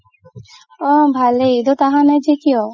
অ ভালেই ইদত আহা নাই যে কিয়?